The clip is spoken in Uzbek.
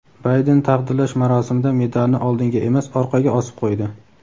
Bayden taqdirlash marosimida medalni oldinga emas orqaga osib qo‘ydi.